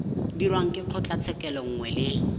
dirwang ke kgotlatshekelo nngwe le